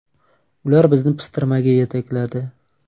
Ular bizni pistirmaga yetakladi.